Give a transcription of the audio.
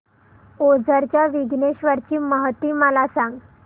ओझर च्या विघ्नेश्वर ची महती मला सांग